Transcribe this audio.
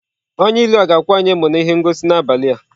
Onye ilu a ga-akwa anyị emo na ihe ngosi n'abalị a?